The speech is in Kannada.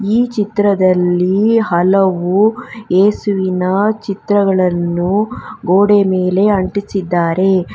ಈ ಚಿತ್ರದಲ್ಲಿ ಹಲವು ಏಸುವಿನ ಚಿತ್ರಗಳನ್ನು ಗೋಡೆ ಮೇಲೆ ಅಂಟಿಸಿದ್ದಾರೆ.